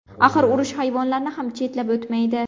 Axir urush hayvonlarni ham chetlab o‘tmaydi.